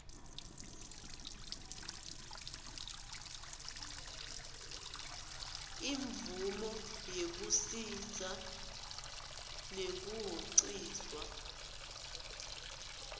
imvomo yekusisa nekuhociswa